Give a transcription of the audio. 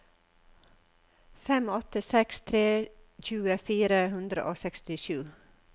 fem åtte seks tre tjue fire hundre og sekstisju